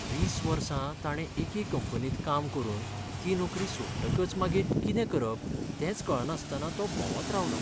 वीस वर्सां ताणें एके कंपनींत काम करून ती नोकरी सोडटकच मागीर कितें करप तेंच कळनासतना तो भोंवत रावलो.